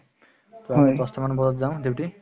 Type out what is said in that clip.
মই দহতা মান বজাত যাও duty